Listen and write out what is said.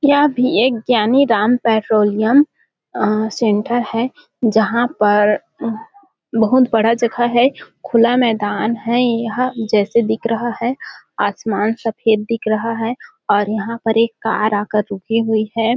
यहाँ भी एक ज्ञानी राम पेट्रोलियम अअअ सेंटर है जहाँ पर अ बहुत बड़ा जगह है खुला मैदान है यह जैसा दिख रहा है आसमान सफेद दिख रहा है और यहाँ पर एक कार आकर रुकी हुई है।